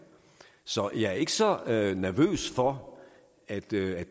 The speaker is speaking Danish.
så jeg er ikke så nervøs for at det